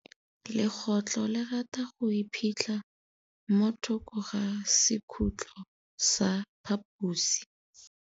Legôtlô le rata go iphitlha mo thokô ga sekhutlo sa phaposi.